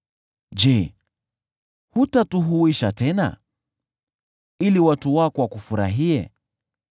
Je, hutatuhuisha tena, ili watu wako wakufurahie?